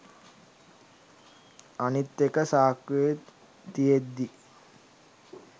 අනිත් එක සාක්කුවේ තියෙද්දි